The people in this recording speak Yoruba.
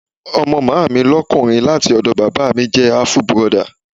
Ọmọ Màámi lókùnrin láti ọ̀dọ̀ Bàbá míì jẹ́ àfù burọdà.